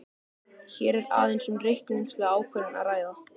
Hér er aðeins um reikningslega ákvörðun að ræða.